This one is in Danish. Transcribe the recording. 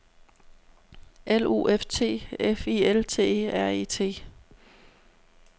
L U F T F I L T E R E T